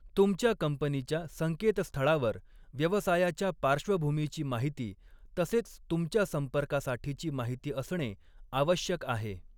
तुमच्या कंपनीच्या संकेतस्थळावर व्यवसायाच्या पार्श्वभूमीची माहिती तसेच तुमच्या संपर्कासाठीची माहिती असणे आवश्यक आहे.